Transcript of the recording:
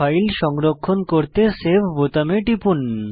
file সংরক্ষণ করতে save বোতামে টিপুন